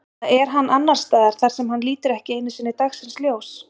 Eða er hann annars staðar þar sem hann lítur ekki einu sinni dagsins ljós?